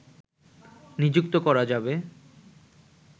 নিযুক্ত করা যাবে